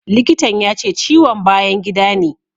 Likitan ya ce ciwon bayan gida ne.